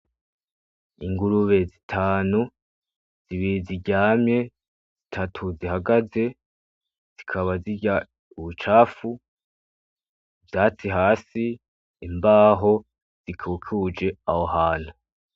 Ingurube zitanu, zibiri ziryamye, zitatu zihagaze zikaba zirya ubucafu, ubwatsi hasi, imbaho zikikuje aho hantu.